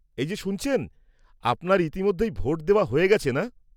-এই যে শুনছেন, আপনার ইতিমধ্যেই ভোট দেওয়া হয়ে গেছে না?